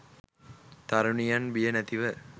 තරුණියන් බිය නැතිව